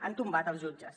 han tombat els jutges